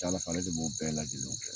A ka ca Ala fɛ, ale de b'o bɛɛ lajɛlenw kɛ